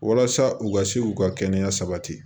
Walasa u ka se k'u ka kɛnɛya sabati